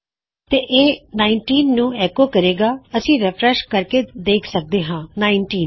ਫੇਰ ਇਹ ਉੱਨੀ ਨੂੰ ਐੱਕੋ ਕਰਦੇ ਗਾ ਜਦੋ ਅਸੀਂ ਰਿਫਰੈਸ਼ ਕਰਦੇ ਹਾਂ ਅਸੀਂ ਦੇਖਦੇ ਹਾਂ ਉੱਨੀ